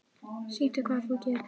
Sýndu hvað þú getur!